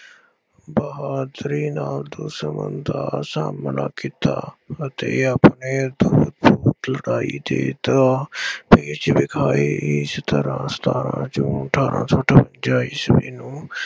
ਬਹਾਦਰੀ ਨਾਲ ਦੁਸ਼ਮਣ ਦਾ ਸਾਹਮਣਾ ਕੀਤਾ ਅਤੇ ਆਪਣੇ ਲੜਾਈ ਦੇ ਤਾਂ ਇਸ ਤਰ੍ਹਾਂ ਸਤਾਰਾਂ ਜੂਨ ਅਠਾਰਾਂ ਸੌ ਅਠਵੰਜ਼ਾ ਈਸਵੀ ਨੂੰ